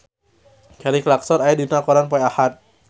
Kelly Clarkson aya dina koran poe Ahad